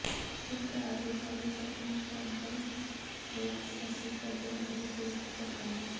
ਇਕ ਕਾਰਗੁਜ਼ਾਰੀ Channing Tatum ਹੋਪਸ ਅਸੀਂ ਕਦੇ ਨਹੀਂ ਦੇਖ ਸਕਾਂਗੇ